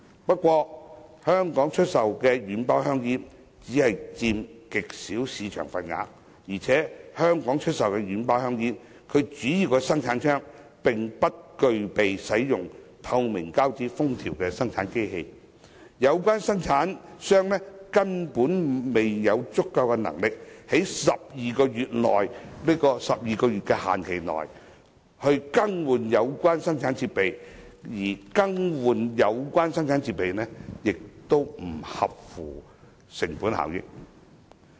不過，軟包香煙在香港只佔極小的市場份額，而且香港出售的軟包香煙的主要生產商，並不具備使用透明膠紙封條的生產機器，有關生產商根本沒有足夠的能力，在12個月的寬限期內更換有關生產設備，而更換有關生產設備亦不合乎成本效益。